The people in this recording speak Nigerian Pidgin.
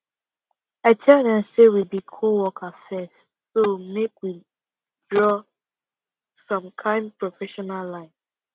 i tell dem say we be coworker first so make we draw some kind professional line